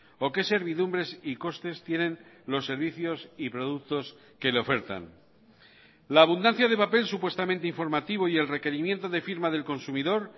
o qué servidumbres y costes tienen los servicios y productos que le ofertan la abundancia de papel supuestamente informativo y el requerimiento de firma del consumidor